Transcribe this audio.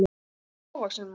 Þetta er hávaxinn maður.